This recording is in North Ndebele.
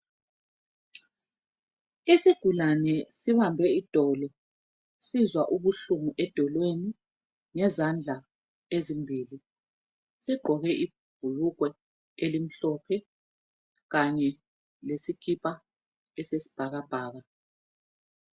Isigulane sibambe idolo sizwa ubuhlungu edolweni ngezandla ezimbili sigqoke ibhulugwe elimhlophe kanye lesika esesibhakabhaka.